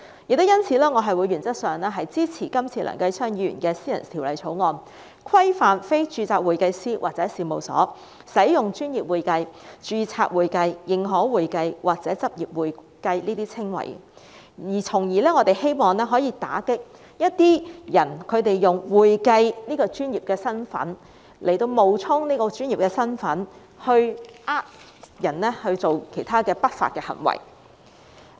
正因如此，我原則上支持梁繼昌議員提出的《2018年專業會計師條例草案》，規範非註冊會計師或事務所使用"專業會計"、"註冊會計"、"認可會計"或"執業會計"的稱謂，從而希望打擊一些人用"會計"的身份冒充專業，欺騙市民作出不法的行為。